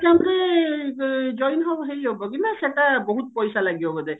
exam ରେ join ହେଇହବ କି ନା ସେଟା ବହୁତ ପଇସା ଲାଗିବ ବୋଧେ